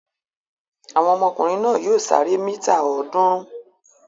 Àwọn ọmọkùnrin náà yóò sáré mítà ọ̀ọ́dúnrún.